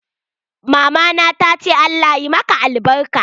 Mama na ta ce Allah ya maka albarka.